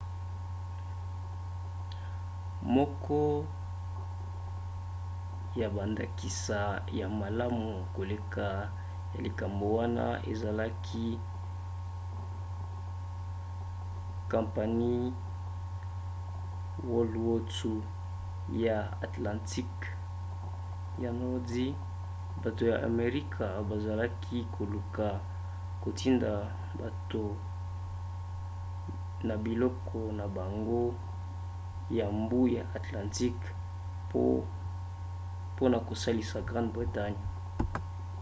moko ya bandakisa ya malamu koleka ya likambo wana ezalaki kampanie wwii ya atlantiqueya nordi. bato ya amerika bazalaki koluka kotinda bato na biloko na bango ya mbu ya atlantique mpona kosalisa grande bretagne